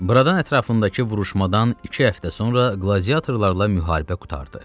Buradan ətrafındakı vuruşmadan iki həftə sonra qladiatorlarla müharibə qurtardı.